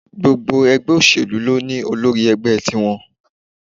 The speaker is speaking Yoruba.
Gbogbo ẹgbẹ́ òṣèlú ló ní Olórí ẹgbẹ́ tiwọn.